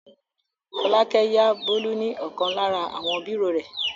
Fọlákẹ́ yá Bólú ní ọ̀kan lára àwọn bírò rẹ̀.